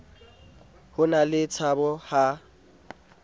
ho na le tshabo ha